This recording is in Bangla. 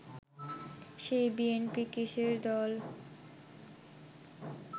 সেই বিএনপি কিসের দল